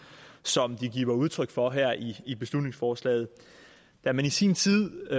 som de giver udtryk for her i i beslutningsforslaget da man i sin tid